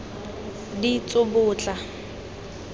ditsobotla